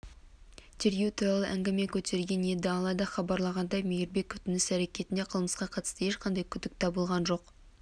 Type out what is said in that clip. тергеу туралы әңгіме көтерген еді алайда хабарлағандай мейрібековтың іс-әрекетінде қылмысқа қатысты ешқандай күдік табылған жоқ